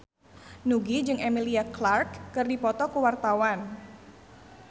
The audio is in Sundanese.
Nugie jeung Emilia Clarke keur dipoto ku wartawan